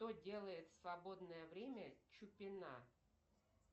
что делает в свободное время чупина